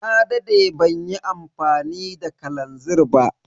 Na dade banyi amfani da kalanzir ba.